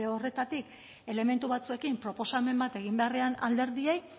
horretatik elementu batzuekin proposamen bat egin beharrean alderdiei